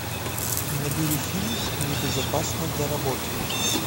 набери фильм небезопасно для работы